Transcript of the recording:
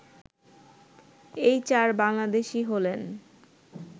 এই চার বাংলাদেশী হলেন